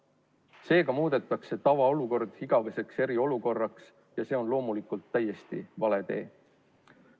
Seega muudetakse tavaolukord igaveseks eriolukorraks ja see on loomulikult täiesti vale tee.